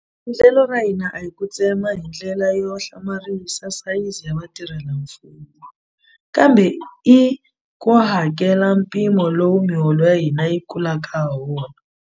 Endlelo ra hina a hi ku tsema hindlela yo hlamarisa sayizi ya vatirhelamfumo, kambe i ku kambela mpimo lowu miholo ya hina yi kulaka hawona.